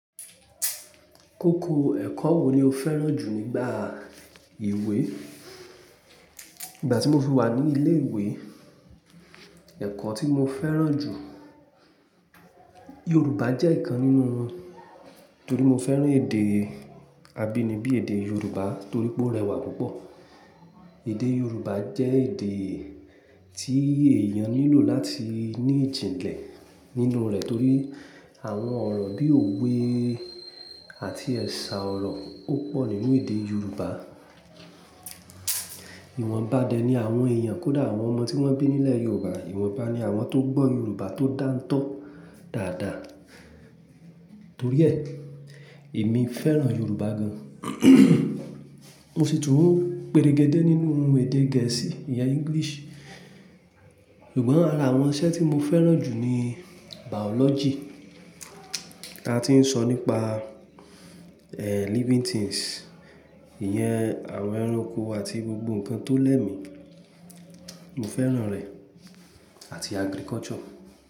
Kókó ẹ̀kọ́ wo ni o fẹ́ràn jù nígbà ìwé? Nígbà tí mo fi wà ní ilé ìwé, ẹ̀kọ́ tí mo fẹ́ràn jù, Yorùbá jẹ́ ìkan nínú wọn, torí mo fẹ́ràn èdè abínibí èdè Yorùbá torí pé ó rẹwà púpọ̀. Èdè Yorùbá jẹ́ èdè tí èèyàn nílò láti ní ìjìnlẹ̀ nínú rẹ̀ torí àwọn ọ̀rọ̀ bí òwe àti ẹ̀sà ọ̀rọ̀ ó pọ̀ nínú èdè Yorùbá. Ìwọ̀nba dẹ̀ ni àwọn èèyàn kódà àwọn ọmọ tí wọ́n bí nílẹ̀ Yorùbá. Ìwọ̀nba ni àwọn tó gbọ́ Yorùbá tó dántọ́ dáadáa. Torí ẹ, èmi fẹ́ràn Yorùbá gan. Mo sì tún péregédé nínú èdè gẹ̀ẹ́sì ìyẹn English. Ṣùgbọ́n ara àwọn iṣẹ́ tí mo fẹ́ràn jù ni biology. Ta tí ń sọ nípa, ehn, living things, ìyẹn àwọn ẹranko àti gbogbo nǹkan tó lẹ́mi. Mo fẹ́ràn rẹ̀ àti agriculture.